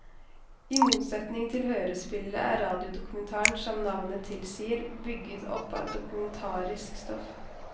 I motsetning til hørespillet er radiodokumentaren som navnet tilsier, bygget opp av dokumentarisk stoff.